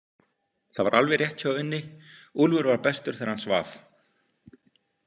Það var alveg rétt hjá Unni, Úlfur var bestur þegar hann svaf.